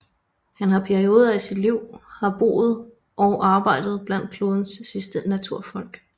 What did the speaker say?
Han har i perioder af sit liv har boet og arbejdet blandt klodens sidste naturfolk